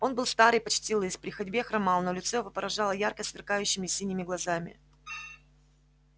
он был стар и почти лыс при ходьбе хромал но лицо его поражало ярко сверкающими синими глазами